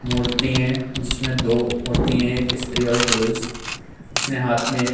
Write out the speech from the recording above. मूर्ति है जिसमें दो मूर्ति है एक स्त्री और पुरुष जिसने हाथ में एक --